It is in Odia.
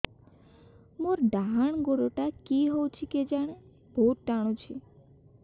ମୋର୍ ଡାହାଣ୍ ଗୋଡ଼ଟା କି ହଉଚି କେଜାଣେ ବହୁତ୍ ଟାଣୁଛି